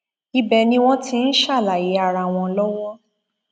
ibẹ ni wọn ti ń ṣàlàyé ara wọn lọwọ